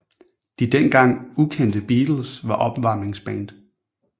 De den gang ukendte Beatles var opvarmningsband